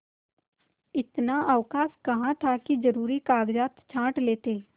इतना अवकाश कहाँ था कि जरुरी कागजात छॉँट लेते